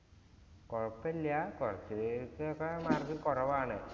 കൊഴപ്പ ഇല്യ mark കൊറവാണ്.